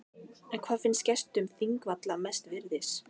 En hvað finnst gestum þingvalla mest virðis?